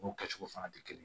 N'o kɛcogo fana tɛ kelen ye